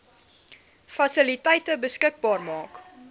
fasiliteite beskikbaar maak